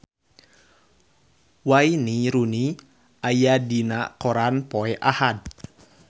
Wayne Rooney aya dina koran poe Ahad